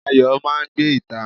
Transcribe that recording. Ayo máa gbé ìta